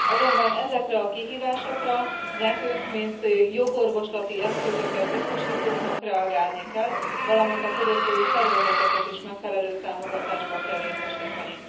Azonban ezekre a kihívásokra nekünk mint jogorvoslati eszközöket biztosítóknak reagálni kell, valamint a fogyasztói szervezeteket is megfelelő támogatásban kell részesíteni.